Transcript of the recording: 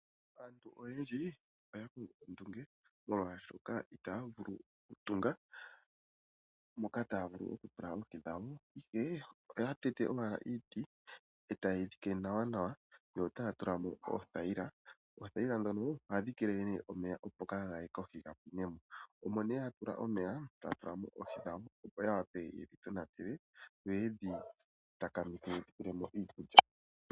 Aantu oyendji oya kongo ondunge molwashoka itaya vulu okutunga moka taya vulu okutula oohi dhawo, ihe oya tete owala iiti e taye yi dhike nawanawa, yo otaya tula mo oothayila. Oothayila ndhono ohadhi keeleele omeya, opo kaaga ye kohi ga pwine mo, omo ya tula omeya taya tula mo oohi dhawo, opo ya wape ye dhi tonatele yo ye dhi takamithe ye dhi pele mo iikulya.